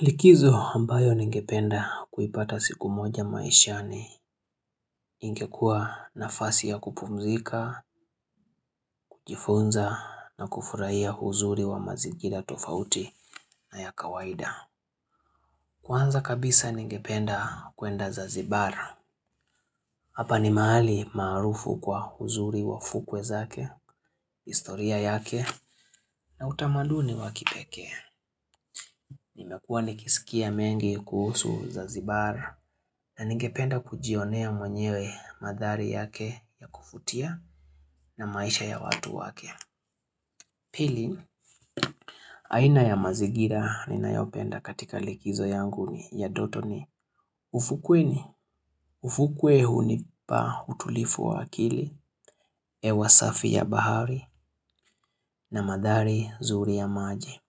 Likizo ambayo ningependa kuipata siku moja maishani ingekua nafasi ya kupumzika, kujifunza na kufurahia uzuri wa mazingira tofauti na ya kawaida. Kwanza kabisa ningependa kuenda zanzibar. Hapa ni mahali maarufu kwa uzuri wa fukwe zake, historia yake na utamaduni wa kipekee. Nime kuwa nikisikia mengi kuhusu zanzibar na ningependa kujionea mwenyewe mandhari yake ya kuvutia na maisha ya watu wake. Pili, aina ya mazingira ninayopenda katika likizo yangu ni ya ndotoni. Ufukwe ni, ufukwe hunipa utulivu wa akili, hewasafi ya bahari na mandhari nzuri ya maji.